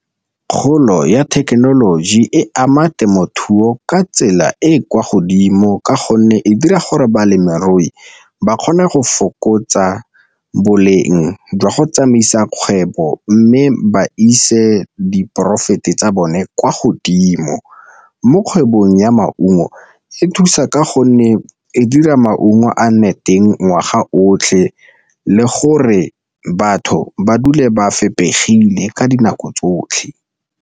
Kgolo ya thekenoloji e ama temothuo ka tsela e e kwa godimo ka gonne e dira gore balemirui ba kgone go fokotsa boleng jwa go tsamaisa kgwebo, mme ba ise diporaefete tsa bone kwa godimo. Mo kgwebong ya maungo e thusa ka gonne e dira maungo a nne teng ngwaga otlhe le gore batho ba dule ba fepegile ka dinako tsotlhe.